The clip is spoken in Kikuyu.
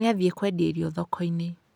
Nĩ athiĩ kũendia irio thoko-inĩ